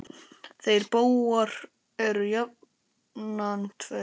Þeir bógar eru jafnan tveir.